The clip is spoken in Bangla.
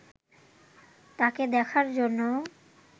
তাকে দেখার জন্য